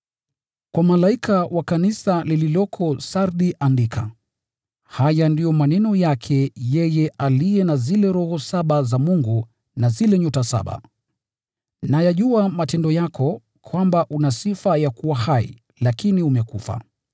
“Kwa malaika wa kanisa lililoko Sardi andika: “Haya ndiyo maneno ya aliye na zile Roho saba za Mungu na zile nyota saba. Nayajua matendo yako, kwamba una sifa ya kuwa hai, lakini umekufa.